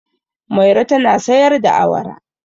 Mairo tana sayar da awara.